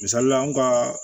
Misalila an ka